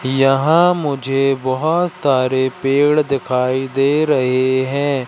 यहां मुझे बहोत सारे पेड़ दिखाई दे रहे हैं।